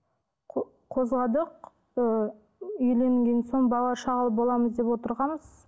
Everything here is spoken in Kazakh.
қозғадық ы үйленген соң балалы шағалы боламыз деп отырғанбыз